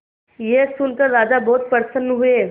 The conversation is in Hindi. यह सुनकर राजा बहुत प्रसन्न हुए